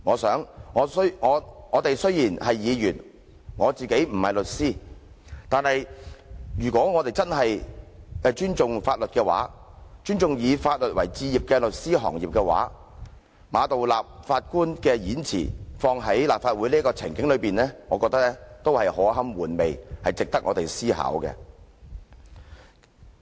"雖然我們是議員，而我亦不是律師，但如果我們真的尊重法律、尊重以法律為志業的律師行業，將馬道立首席法官的演辭應用於立法會這個情境中，也是可堪玩味，值得我們思考。